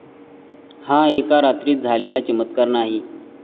हा एका रात्रीत झालेला चमत्कार नाही.